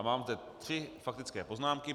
A mám teď tři faktické poznámky.